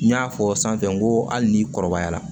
N y'a fɔ sanfɛ ko hali ni kɔrɔbayara